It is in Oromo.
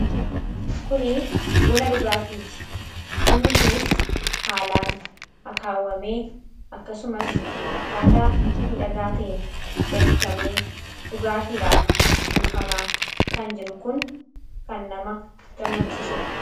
Kuni buna dhugaatiiti. Bunni kunis haalaan akaawwamee akkasumas akkaataa midhagaa ta'een danfifamee dhugaatiidhaaf buufamaa kan jiru kun kan nama gammachiisuudha.